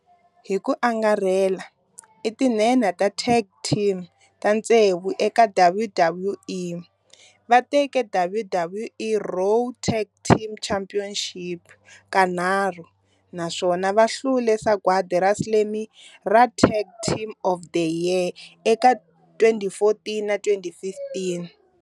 Hi ku angarhela i tinhenha ta tag team ta tsevu eka WWE, va teke WWE Raw Tag Team Championship kanharhu naswona va hlule Sagwadi ra Slammy ra Tag Team of the Year eka 2014 na 2015.